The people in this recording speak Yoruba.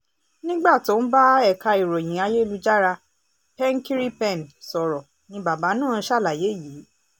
nígbà tó ń bá ẹ̀ka ìròyìn ayélujára penkiripen sọ̀rọ̀ ni bàbá náà ṣàlàyé yìí